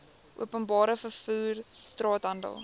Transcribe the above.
openbare vervoer straathandel